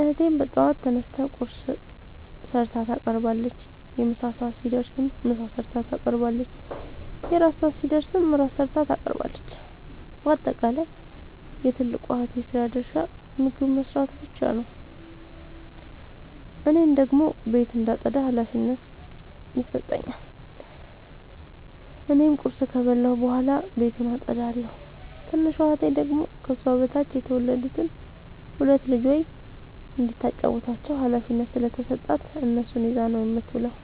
እህቴም በጠዋት ተነስታ ቁርስ ሠርታ ታቀርባለች። የምሣ ሰዓት ሲደርስም ምሳ ሠርታ ታቀርባለች። የእራት ሰዓት ሲደርስም ራት ሠርታ ታቀርባለች። ባጠቃለይ የትልቋ እህቴ የስራ ድርሻ ምግብ መስራት ብቻ ነዉ። እኔን ደግሞ ቤት እንዳጠዳ ሀላፊነት ይሠጠኛል። እኔም ቁርስ ከበላሁ በኃላ ቤቱን አጠዳለሁ። ትንሿ እህቴ ደግሞ ከሷ በታች የተወለዱትን ሁለት ልጆይ እንዳታጫዉታቸዉ ሀላፊነት ስለተሠጣት እነሱን ይዛ ነዉ የምትዉለዉ።